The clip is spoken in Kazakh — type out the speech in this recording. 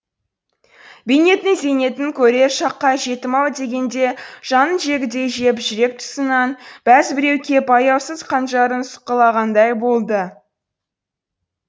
бейнеттің зейнетін көрер шаққа жетім ау дегенде жанын жегідей жеп жүрек тұсынан бәз біреу кеп аяусыз қанжарын сұққылағандай болды